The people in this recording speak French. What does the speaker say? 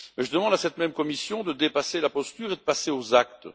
Je demande à cette même Commission de dépasser la posture et de passer aux actes.